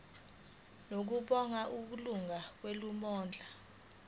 ngokubona kwelungu lomkhandlu